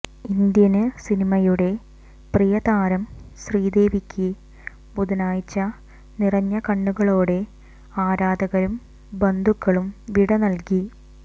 Indian സിനിമയുടെ പ്രിയ താരം ശ്രീദേവിക്ക് ബുധനാഴ്ച നിറഞ്ഞ കണ്ണുകളോടെ ആരാധകരും ബന്ധുക്കളും വിട നല്കി